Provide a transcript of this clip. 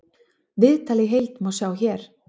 Viðtalið í heild má sjá hér